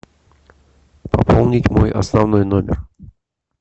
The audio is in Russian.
пополнить мой основной номер